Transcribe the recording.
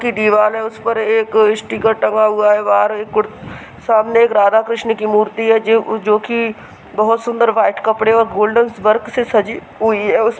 की दीवाल है। उस पर एक स्टीकर टंगा हुआ है। बाहर एक सामने एक राधा कृष्ण की मूर्ति है जोकि बहुत सुन्दर व्हाइट् कपड़े और गोल्डन वर्क से सजी हुई है उस --